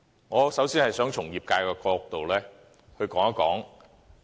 我首先想從業界的角度談談。